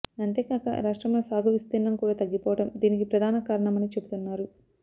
అంతే కాక రాష్ట్రంలో సాగు విస్తీర్ణం కూడా తగ్గిపోవడం దీనికి ప్రధాన కారణమని చెబుతున్నారు